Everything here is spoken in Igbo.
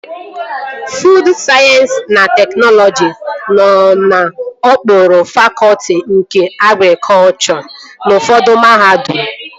Fuud Sayensị na Teknọlọji nọ n'okpuru fakọtị nke agrikọchọ n'ufọdụ mahadum